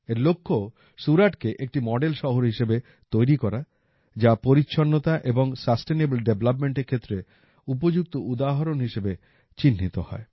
এর লক্ষ্য সুরাটকে একটি মডেল শহর হিসেবে তৈরি করা যা পরিচ্ছন্নতা এবং সাস্টেনেবল ডেভলপমেন্টের ক্ষেত্রে উপযুক্ত উদাহরণ হিসেবে চিহ্নিত হয়